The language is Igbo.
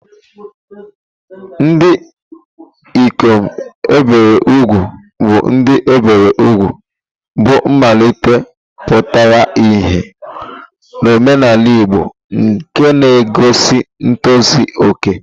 Ndị ikom e biri úgwù bụ ndị e biri úgwù, bụ́ mmalite pụtara ìhè n'omenala Igbo, nke na-egosi ntozu okè.